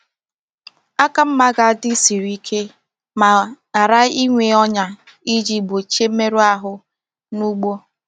Aka mma ga-adị siri ike ma ghara ịnwe ọnyà iji gbochie mmerụ ahụ na ugbo.